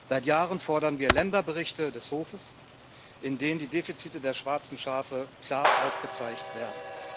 Seit Jahren fordern wir Länderberichte des Hofes, in denen die Defizite der schwarzen Schafe klar aufgezeigt werden.